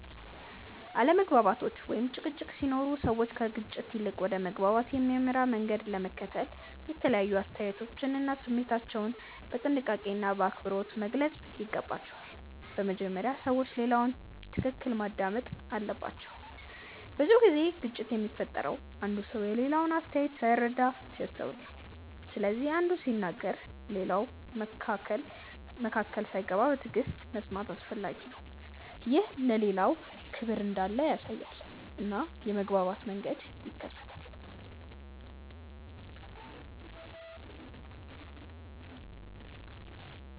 አለመግባባቶች ወይም ጭቅጭቆች ሲኖሩ ሰዎች ከግጭት ይልቅ ወደ መግባባት የሚያመራ መንገድ ለመከተል የተለያዩ አስተያየቶቻቸውን እና ስሜታቸውን በጥንቃቄና በአክብሮት መግለጽ ይገባቸዋል። በመጀመሪያ ሰዎች ሌላውን በትክክል ማዳመጥ አለባቸው። ብዙ ጊዜ ግጭት የሚፈጠረው አንዱ ሰው የሌላውን አስተያየት ሳይረዳ ሲያስተውል ነው። ስለዚህ አንዱ ሲናገር ሌላው መካከል ሳይገባ በትዕግሥት መስማት አስፈላጊ ነው። ይህ ለሌላው ክብር እንዳለ ያሳያል እና የመግባባት መንገድን ይከፍታል.